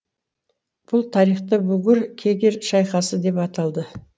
бұл тарихта бугур кегер шайқасы деп аталды